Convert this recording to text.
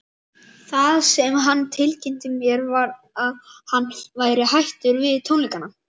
Það sem hann tilkynnti mér var að hann væri hættur við tónleikana.